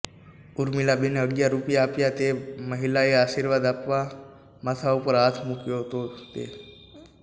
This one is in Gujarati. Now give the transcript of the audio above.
ઉર્મીલાબેને અગિયાર રૃપિયા આપતા તે મહિલાએ આશીર્વાદ આપવા માથા ઉપર હાથ મુક્યો તે